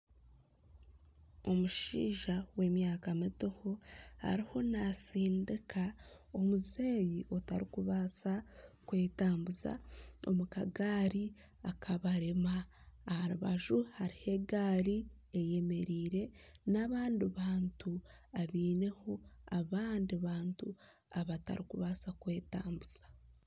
Omushaija w'emyaka mitoho, ariho naatsindika omuzeeyi otarikubaasa kwetambuza omu kagaari akabarema. Aha rubaju hariho egaari eyemereire n'abandi bantu abaineho abandi bantu abatarikubaasa kwetambuza.